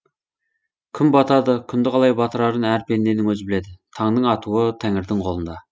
күн батады күнді қалай батырарын әр пенденің өзі біледі таңның атуы тәңірдің қолында